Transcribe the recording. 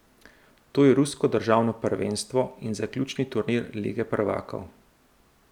To je rusko državno prvenstvo in zaključni turnir lige prvakov.